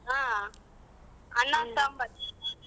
ಹಾ ಅನ್ನ ಸಾಂಬಾರ್.